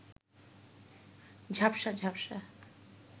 ঝাপসা ঝাপসা